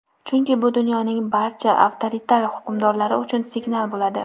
chunki bu dunyoning barcha avtoritar hukmdorlari uchun signal bo‘ladi.